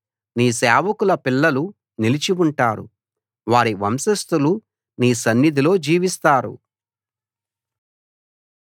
నీ సేవకుల పిల్లలు నిలిచి ఉంటారు వారి వంశస్థులు నీ సన్నిధిలో జీవిస్తారు